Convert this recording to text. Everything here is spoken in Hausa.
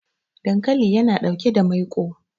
dankali yana ɗauke da maiko